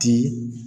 Ten